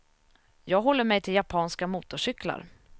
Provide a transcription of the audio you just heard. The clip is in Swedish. Jag håller mig till japanska motorcyklar.